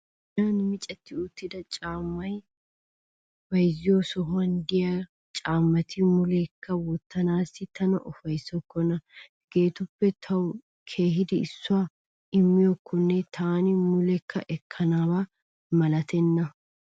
Giyan micetti uttida caammaa bayzziyoo sohuwan de'iyaa caammati muleekka wottanaassi tana ufayissokkona. Hageetuppe tawu kehidi issuwaa immiyaakkone taani mulekka ekkanaba malatenna.